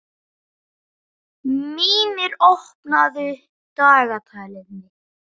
Mímir, opnaðu dagatalið mitt.